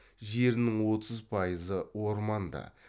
жерінің отыз пайызы орманды